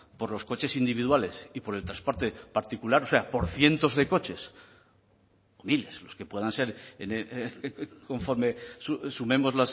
por los coches individuales y por el transporte particular o sea por cientos de coches miles los que puedan ser conforme sumemos